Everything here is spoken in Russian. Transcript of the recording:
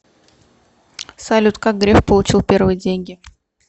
салют как греф получил первые деньги